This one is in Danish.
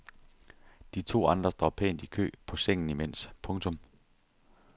De to andre står pænt i kø på sengen imens. punktum